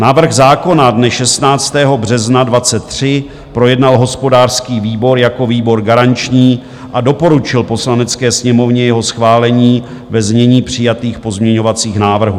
Návrh zákona dne 16. března 2023 projednal hospodářský výbor jako výbor garanční a doporučil Poslanecké sněmovně jeho schválení ve znění přijatých pozměňovacích návrhů.